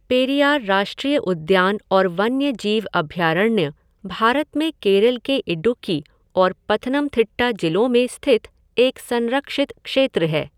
पेरियार राष्ट्रीय उद्यान और वन्यजीव अभयारण्य भारत में केरल के इदूक्की और पथनमथिट्टा जिलों में स्थित एक संरक्षित क्षेत्र है।